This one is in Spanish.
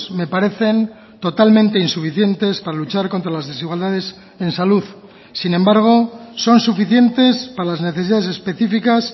me parecen totalmente insuficientes para luchar contra las desigualdades en salud sin embargo son suficientes para las necesidades específicas